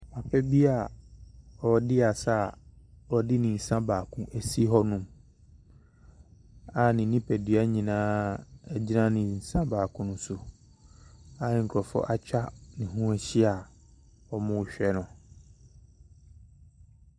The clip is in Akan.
Papa bi a ɔredi asa ɔde ne nsa baako asi hɔ a ne nnipadua gyina ne nsa baako no so nkorɔfoɔ atwa ne ahyia hwɛ no.